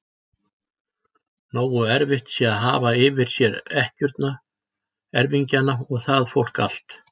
Nógu erfitt sé að hafa yfir sér ekkjurnar, erfingjana og það fólk allt!